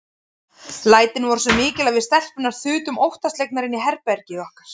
Lætin voru svo mikil að við stelpurnar þutum óttaslegnar inn í herbergið okkar.